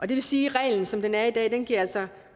det vil sige at reglen som den er i dag altså